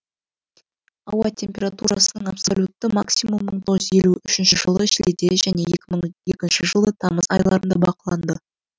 ауа температурасының абсолютті максимум мың тоғыз жүз елу үшінші жылы шілдеде және екі мың екінші жылы тамыз айларында бақыланды